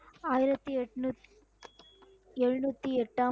ஆயிரத்தி எட்நூத்~ எழுநூத்தி எட்டாம்